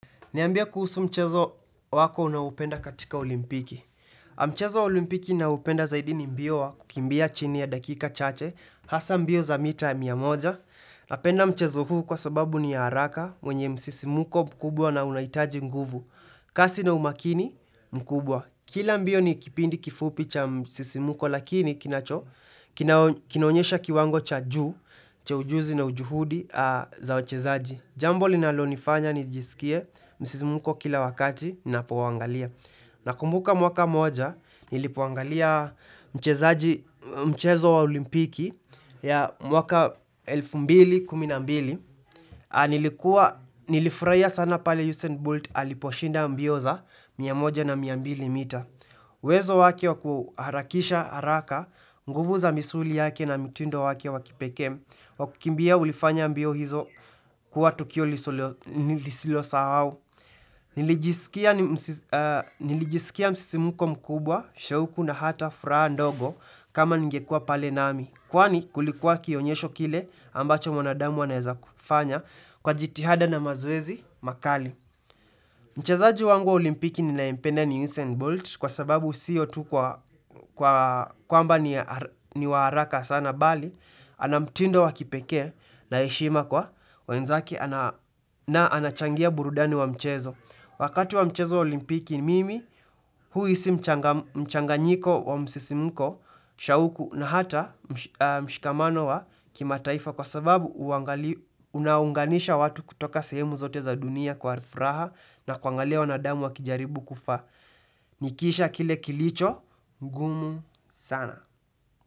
Niambie kuhusu mchezo wako unaoupenda katika olimpiki. Mchezo wa olimpiki naoupenda zaidi ni mbio wa kukimbia chini ya dakika chache. Hasa mbio za mita ya mia moja. Napenda mchezo huu kwa sababu ni ya haraka wenye msisimuko mkubwa na unaitaji nguvu. Kasi na umakini mkubwa. Kila mbio ni kipindi kifupi cha msisimuko lakini kinacho. Kinoonyesha kiwango cha juu, cha ujuzi na ujuhudi za wachezaji. Jambo linalo nifanya nijisikie, msizimuko kila wakati ninapo waangalia. Nakumbuka mwaka moja, nilipoangalia mchezaji, mchezo wa olimpiki ya mwaka 2012. Nilikuwa, Nilifurahia sana pale Usain Bolt aliposhinda mbio za mia moja na mia mbili mita. Uwezo wake wakuharakisha haraka, nguvu za misuli yake na mtindo wake wakipekee, Wakukimbia ulifanya mbio hizo kuwa Tukio nisilo sahau. Nilijisikia Nilijisikia msisimuko mkubwa, shauku na hata furaha ndogo kama ningekuwa pale nami. Kwani kulikuwa kionyesho kile ambacho mwanadamu anaeza kufanya kwa jitihada na mazoezi makali. Mchezaji wangu wa olimpiki ninayempenda ni Usain Bolt kwa sababu siyo tu kwa kwamba ni waharaka sana bali. Ana mtindo wakipekee na heshima kwa wenzake na anachangia burudani wa mchezo. Wakati wa mchezo olimpiki ni mimi huhisi mchanganyiko wa msisimuko, shauku na hata mshikamano wa kima taifa kwa sababu unaunganisha watu kutoka sehemu zote za dunia kwa furaha na kuangalia wanadamu wa kijaribu kufa. Nikisha kile kilicho, ngumu sana.